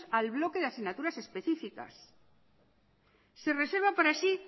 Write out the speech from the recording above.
al bloque de asignaturas específicas se reserva para sí